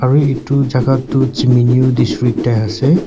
aro etu chaka tu Tseminyu district te ase.